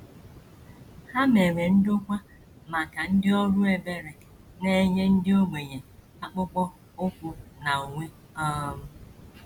Ha mere ndokwa maka ndị ọrụ ebere na - enye ndị ogbenye akpụkpọ ụkwụ na uwe um.